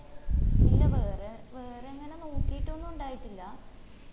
ഇല്ല വേറെ വേറങ്ങാനേ നോക്കിട്ടൊന്നും ഇണ്ടായിട്ടില്ല